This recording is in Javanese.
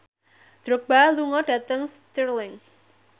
Drogba lunga dhateng Stirling